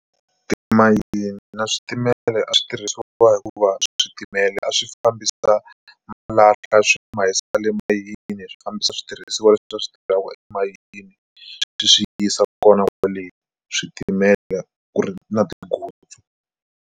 Timayini na switimela a swi tirhisiwa hikuva switimela a swi fambisa ma emayini swi fambisa switirhisiwa leswi switirhaku emayini swi yisiwa kona kwale switimela ku ri na tinghozi.